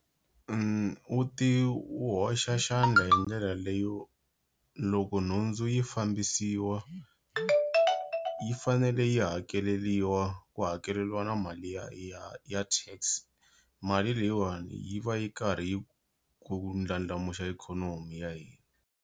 U ti u hoxa xandla hindlela leyo loko nhundzu yi fambisiwa yi fanele yi hakeleliwa ku hakeliwa mali ya ya ya Tax mali leyiwani yi va yi karhi yi ku ndlandlamuxa ikhonomi ya hina.